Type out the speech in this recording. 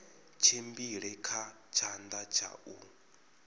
tshimbile kha tshanḓa tsha u